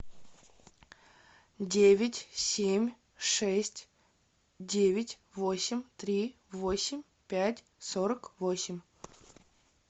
девять семь шесть девять восемь три восемь пять сорок восемь